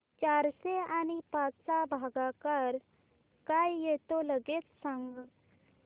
चारशे आणि पाच चा भागाकार काय येतो लगेच सांग